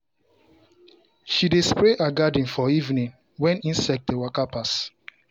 she dey spray her garden for evening when insect dey waka pass.